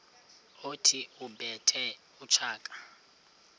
othi ubethe utshaka